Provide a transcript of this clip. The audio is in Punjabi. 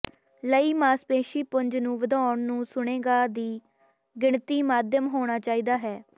ਲਈ ਮਾਸਪੇਸ਼ੀ ਪੁੰਜ ਨੂੰ ਵਧਾਉਣ ਨੂੰ ਸੁਣੇਗਾ ਦੀ ਗਿਣਤੀ ਮਾਧਿਅਮ ਹੋਣਾ ਚਾਹੀਦਾ ਹੈ